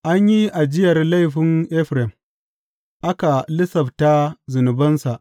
An yi ajiyar laifin Efraim, aka lissafta zunubansa.